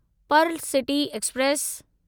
Perl City express